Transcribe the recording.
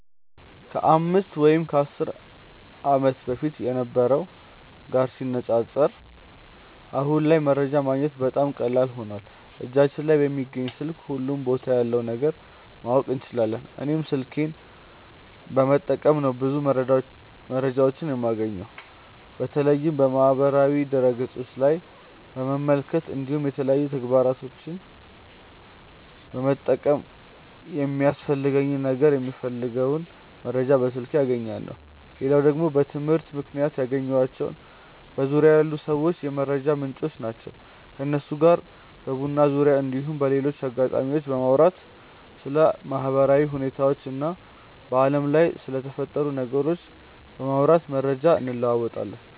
ከ 5 ወይም 10 ዓመት በፊት ከነበረው ጋር ሲነጻጸር አሁን ላይ መረጃ ማግኘት በጣም ቀላል ሆኖዋል እጃችን ላይ በሚገኝ ስልክ ሁሉም ቦታ ያለውን ነገር ማወቅ እንችላለን። እኔም ስልኬን በመጠቀም ነው ብዙ መረጃዎችን የማገኘው። ከተለያዩ የማህበራዊ ድረ ገፆች ላይ በመመልከት እንዲሁም የተለያዩ መተግበሪያዎችን በመጠቀም ለሚያስፈልገኝ ነገር የምፈልገውን መረጃ በስልኬ አገኛለው። ሌላው ደግሞ በትምህርት ምክንያት ያገኘኳቸው በዙርያዬ ያሉ ሰዎች የመረጃ ምንጮቼ ናቸው። ከነሱ ጋር በቡና ዙርያ እንዲሁም በሌሎች አጋጣሚዎች በማውራት ስለ ማህበራዊ ሁኔታዎች እና በአለም ላይ ስለተፈጠሩ ነገሮች በማውጋት መረጃ እንለወጣለን።